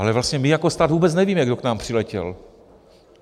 Ale vlastně my jako stát vůbec nevíme, kdo k nám přiletěl.